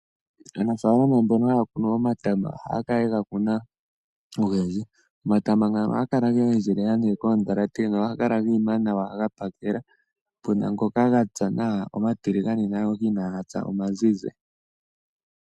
Aanafalama mbono haya kunu omatama ohaya kala yega kuna ogendji, omatama ngano ohaga kala ga endjelela koondhalate nohaga kala ga ima nawa gapakela puna ngoka ga pya nawa omatiligane naangoka inaaga pya omazizi.